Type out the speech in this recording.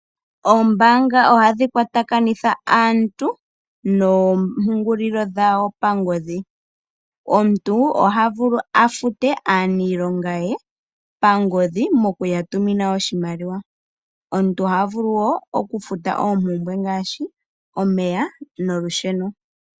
Ombaanga ohadhi kwatakanitha aantu noompungulilo dhawo pangodhi. Omuntu oha vulu afute aaniilonga ye pangodhi moku ya tumina oshimaliwa. Omuntu oha wo vulu oku futa oompumbwe ngaashi omeya nolusheno.